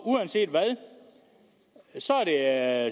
uanset hvad er